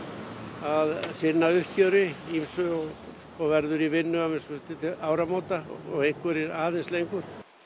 að sinna uppgjöri ýmsu og og verður í vinnu að minnsta kosti til áramóta og sumir aðeins lengur